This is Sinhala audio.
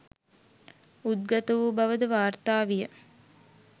උද්ගත වූ බවද වාර්තා විය.